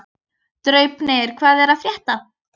Draupnir, hvað er að frétta?